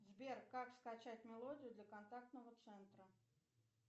сбер как скачать мелодию для контактного центра